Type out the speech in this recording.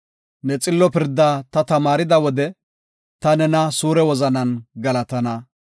Ne xillo pirdaa ta tamaarida wode, ta nena suure wozanan galatana.